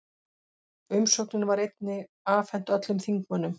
Umsögnin var einnig afhent öllum þingmönnum